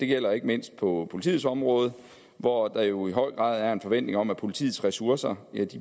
gælder ikke mindst på politiets område hvor der jo i høj grad er en forventning om at politiets ressourcer